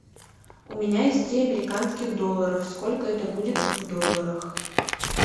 у меня есть три американских долларов сколько это будет в долларах